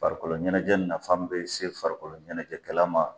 Farikolo ɲɛnajɛɛ nafa min bɛ se farikolo ɲɛnajɛɛkɛla ma.